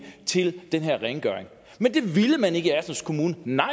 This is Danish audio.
til den her rengøring men det ville man ikke i assens kommune nej